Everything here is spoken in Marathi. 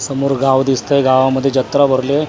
समोर गाव दिसतंय गावामध्ये जत्रा भरलीए आन त्याच्या--